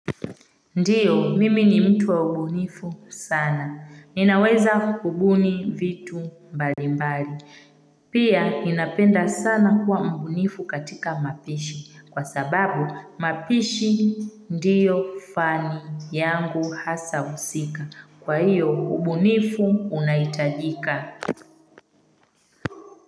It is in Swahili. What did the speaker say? Ndiyo, mimi ni mtu wa ubunifu sana. Ninaweza kubuni vitu mbalimbali. Pia, ninapenda sana kuwa mbunifu katika mapishi. Kwa sababu, mapishi ndiyo fani yangu hasa husika. Kwa hiyo, ubunifu unaitajika.